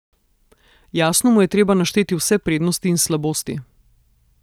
Jasno mu je treba našteti vse prednosti in slabosti.